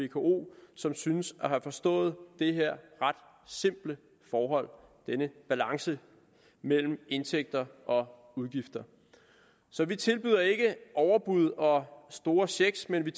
vko som synes at have forstået det her ret simple forhold denne balance mellem indtægter og udgifter så vi tilbyder ikke overbud og store checks men vi